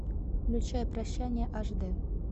включай прощание аш дэ